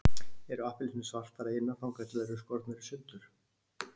Eru appelsínur svartar að innan þangað til þær eru skornar í sundur?